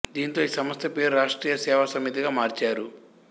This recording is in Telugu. దీంతో ఈ సంస్థ పేరును రాష్ట్రీయ సేవా సమితిగా మార్చారు